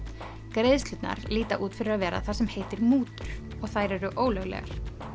greiðslurnar líta út fyrir að vera það sem heitir mútur og þær eru ólöglegar